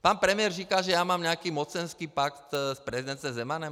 Pan premiér říká, že já mám nějaký mocenský pakt s prezidentem Zemanem.